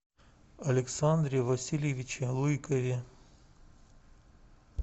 александре васильевиче лыкове